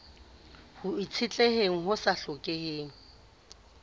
ho itshetleheng ho sa hlokeheng